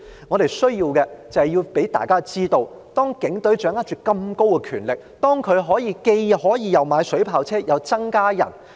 我們需要讓大家知道，警隊掌握那麼大的權力——可以買水炮車，同時又增加人手。